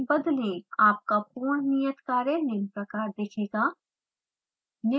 आपका पूर्ण नियत कार्य निम्न प्रकार दिखेगा